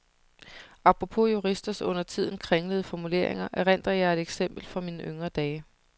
Apropos juristers undertiden kringlede formuleringer erindrer jeg et eksempel fra mine yngre dage.